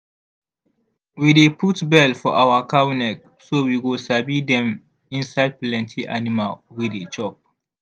we dey put bell for our cow neck so we go sabi dem inside plenty animal wey dey chop.